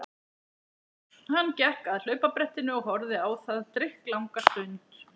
Hann gekk að hlaupabrettinu og horfði á það drykklanga stund.